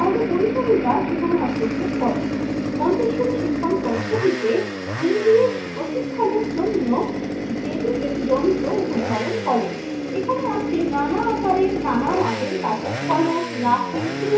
পরিসরের কাজ সেখানে হস্তক্ষেপ করেন। মন্তেশ্বরী শিখন পদ্ধতিতে ইন্দ্রিয়ের প্রশিক্ষণের জন্য বেবিফিক যন্ত্র উদ্ভাবন করেন। এখানে আছে নানা আকারে নানা মাপের কাঠের ফলক, লাঠি